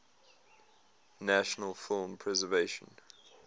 national film preservation